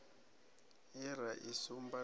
ye ra i sumba na